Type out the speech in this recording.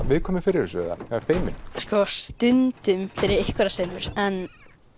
viðkvæmur fyrir þessu eða feiminn sko stundum fyrir einhverjar senur en